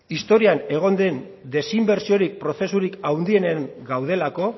historia egon den desinbertsio hori prozesurik handienen gaudelako